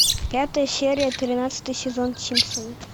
пятая серия тринадцатый сезон симпсоны